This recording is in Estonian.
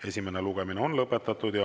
Esimene lugemine on lõpetatud.